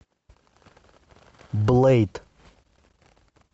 блэйд